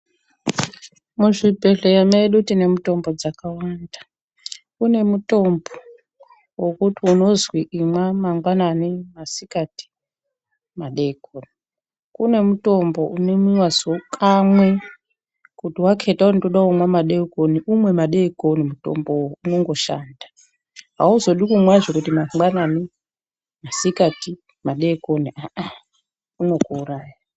Muzvibhedhleya medu tine mitombo dzakawanda. Kune mutombo wokuti unozwi imwa mangwanani, masikati, madeikoni. Kune mutombo unomwiwa kamwe kuti wakheta kuti ndoda kumwa madeikoni umweni madeikoni mutombowo unondoshanda. Hauzodi kumwa mangwanani, masikati, madeikoni aa unokuuraya.